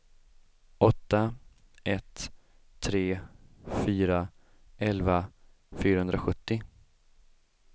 åtta ett tre fyra elva fyrahundrasjuttio